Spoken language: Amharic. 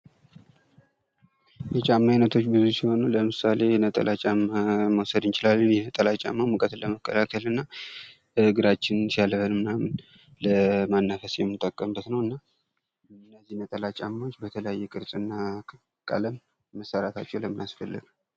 የጫማ አይነቶች ብዙ ሲሆኑ ለምሳሌ ነጠላ ጫማ መዉሰድ እንችላለን። ይህ ነጠላ ጫማ ሙቀትን ለመከላከል እና እግራችንን ሲያልበን ለማናፈስ የምንጠቀምበት ነዉ። እነዚህ ነጠላ ጫማዎች በተለያየ ቅርፅና ቀለም መሰራታቸዉ ለምን አስፈለገ?